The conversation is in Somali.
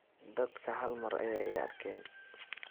Dadka hal mar aya ii arkeen.